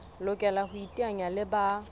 lokela ho iteanya le ba